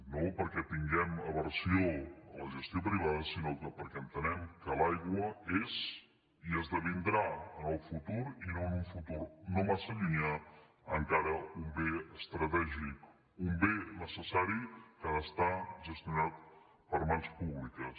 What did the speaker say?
no perquè tinguem aversió a la gestió privada sinó perquè entenem que l’aigua és i esdevindrà en el futur i en un futur no massa llunyà encara un bé estratègic un bé necessari que ha de ser gestionat per mans públiques